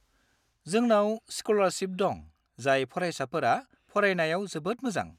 जोंनाव स्क'लारशिफ दं जाय फरायसाफोरा फरायनायाव जोबोद मोजां।